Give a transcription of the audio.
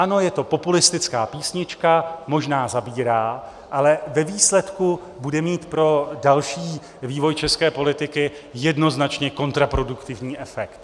Ano, je to populistická písnička, možná zabírá, ale ve výsledku bude mít pro další vývoj české politiky jednoznačně kontraproduktivní efekt.